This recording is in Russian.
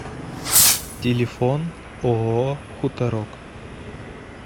телефон ооо хуторок